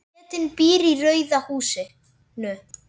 Bretinn býr í rauða húsinu.